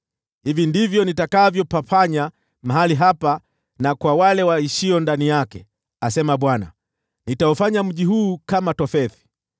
Hivi ndivyo nitakavyopafanya mahali hapa na kwa wale waishio ndani yake, asema Bwana . Nitaufanya mji huu kama Tofethi.